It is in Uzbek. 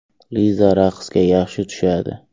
Liza raqsga yaxshi tushadi.